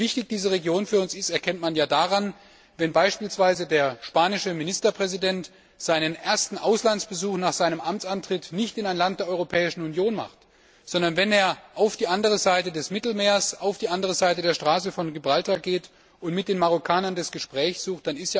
Wie wichtig diese Region für uns ist, erkennt man ja daran, dass beispielsweise der spanische Ministerpräsident seinen ersten Auslandsbesuch nach seinem Amtsantritt nicht in ein Land der Europäischen Union macht, sondern auf die andere Seite des Mittelmeers, auf die andere Seite der Straße von Gibraltar geht und mit den Marokkanern das Gespräch sucht.